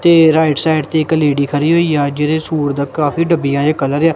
ਤੇ right side ਤੇ ਇਕ ਲੇਡੀ ਖੜੀ ਹੋਈ ਆ ਜਿਹਦੇ ਸੂਟ ਦਾ ਕਾਫੀ ਡੱਬੀਆਂ ਜੇਹਾ ਕਲਰ ਆ।